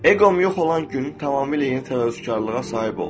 Eqom yox olan gün tamamilə yeni təvazökarlığa sahib oldum.